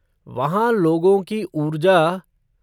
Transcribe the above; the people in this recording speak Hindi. वहाँ लोगों की ऊर्जा!